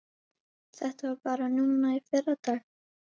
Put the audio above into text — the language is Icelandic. Þetta var bara núna í fyrradag.